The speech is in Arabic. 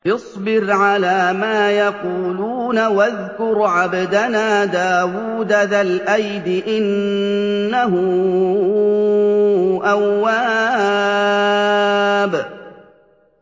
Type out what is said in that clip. اصْبِرْ عَلَىٰ مَا يَقُولُونَ وَاذْكُرْ عَبْدَنَا دَاوُودَ ذَا الْأَيْدِ ۖ إِنَّهُ أَوَّابٌ